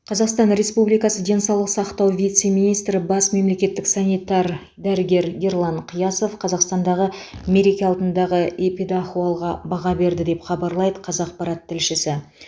қазақстан республикасы денсаулық сақтау вице министрі бас мемлекеттік санитар дәрігер ерлан қиясов қазақстандағы мереке алдындағы эпидахуалға баға берді деп хабарлайды қазақпарат тілшісі